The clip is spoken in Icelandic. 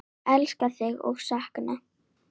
Elska þig og sakna.